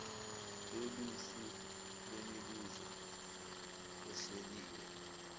loluhlu lwemibuzo ehleliwe